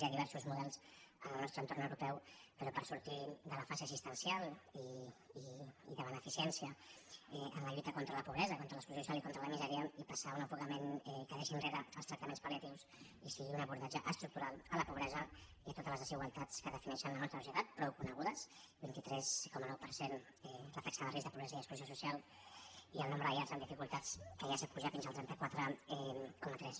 hi ha diversos models al nostre entorn europeu però per sortir de la fase assistencial i de beneficència en la lluita contra la pobresa contra l’exclusió social i contra la misèria i passar a un enfocament que deixi enrere els tractaments pal·liatius i sigui un abordatge estructural a la pobresa i a totes les desigualtats que defineixen la nostra societat prou conegudes vint tres coma nou per cent la taxa de risc de pobresa i exclusió social i el nombre de llars amb dificultats que ja s’ha apujat fins al trenta quatre coma tres